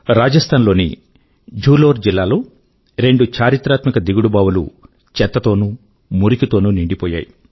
రాజస్థాన్ లోని ఝాలోర్ జిల్లా లో రెండు చారిత్రాత్మిక దిగుడు బావులు చెత్త తోనూ మురికి నీటి తోనూ నిండిపోయాయి